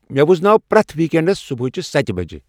مے ؤزناو پریتھ weekends صبحٲچِہ ستِہ بج ۔